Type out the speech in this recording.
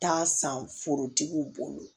Taa san forotigiw bolo